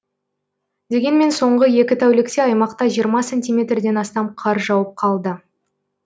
дегенмен соңғы екі тәулікте аймақта жиырма сантиметрден астам қар жауып қалды